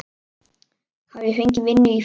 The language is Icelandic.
Hafi fengið vinnu í fiski.